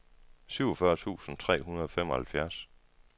syvogfyrre tusind tre hundrede og femoghalvfjerds